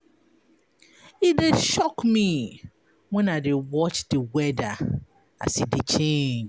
E dey shock me wen I dey watch di weather as e dey change.